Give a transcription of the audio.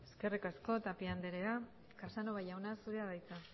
eskerrik asko tapia anderea casanova jauna zurea da hitza